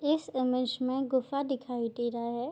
इस इमेज में गुफा दिखाई दे रहा है।